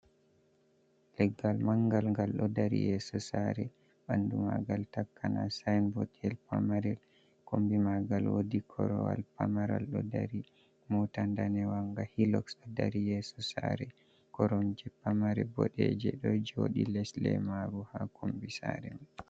Leggal mangal gal ɗo dari yeso sare, ɓandu magal takana sainbot tel pamarel, kombi ma ngal wodi korowal pamaral ɗo dari, mota danewanga nga hilox ɗo dari yeso sare, koromje pamare boɗe je ɗo joɗi les lemaru ha kombi sare man.